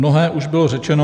Mnohé už bylo řečeno.